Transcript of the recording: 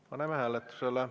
Paneme hääletusele.